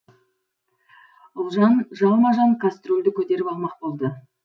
ұлжан жалма жан кострюльді көтеріп алмақ болды